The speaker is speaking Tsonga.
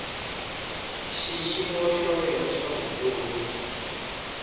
xiyimo xa wena xa vutomi